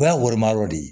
O y'a woloma yɔrɔ de ye